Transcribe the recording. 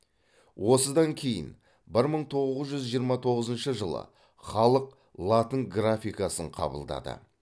осыдан кейін бір мың тоғыз жүз жиырма тоғызыншы жылы халық латын графикасын қабылдады